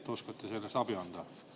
Kas oskate selles abi anda?